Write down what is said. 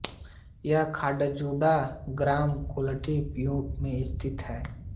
यह खाजागुड़ा ग्राम गोलकुंडा पीओ में स्थित है